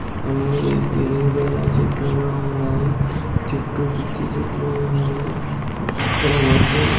అన్ని ఇరిగిపోయిన చెట్లు కూడా ఉన్నాయి చుట్టూ పిచ్చి చెట్లు ఉన్నాయి హ ఇక్కడ మనుషులు--